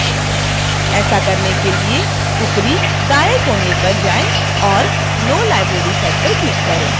ऐसा करने के लिए ऊपरी दाएं कोने पर जाएं और no library set पर click करें